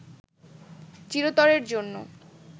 চিরতরের জন্য